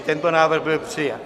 I tento návrh byl přijat.